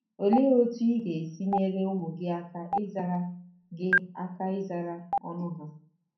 Olee otú ị ga-esi nyere ụmụ gị aka ịzara gị aka ịzara ọnụ ha?